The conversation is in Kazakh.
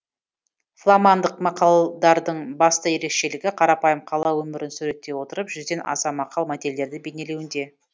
фламандық мақалдардың басты ерекшелігі қарапайым қала өмірін суреттей отырып жүзден аса мақал мәтелдерді бейнелеуінде